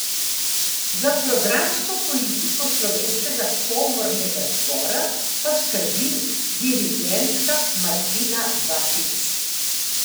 Za programsko politiko Slovenskega komornega zbora pa skrbi dirigentka Martina Batič.